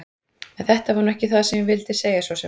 En þetta var nú ekki það sem ég vildi segja svo sem.